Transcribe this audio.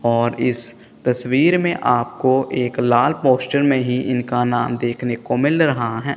और इस तस्वीर में आपको एक लाल पोस्टर में ही इनका नाम देखने को मिल रहा है।